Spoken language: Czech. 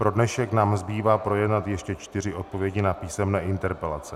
Pro dnešek nám zbývá projednat ještě čtyři odpovědi na písemné interpelace.